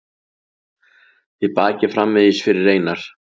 Þið bakið framvegis fyrir Einar.